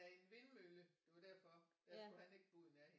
En vindmølle det var derfor den skulle han ikke gå ud i nærheden